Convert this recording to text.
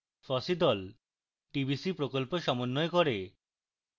fossee the tbc প্রকল্প সমন্বয় করে